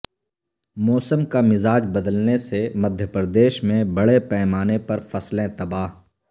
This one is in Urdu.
موسم کا مزاج بدلنے سے مدھیہ پردیش میں بڑے پیمانے پر فصلیں تباہ